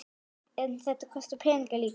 En þetta kostar peninga líka?